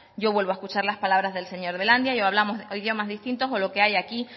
yo vuelvo a escuchar las palabras del señor belandia y o hablamos idiomas distintos o lo que hay aquí